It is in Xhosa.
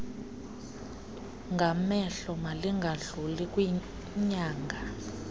ngamehlo malingadluli kwinyanga